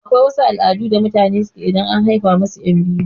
Akwai wasu al'adu da mutane keyi idan and haifa musu ƴan biyu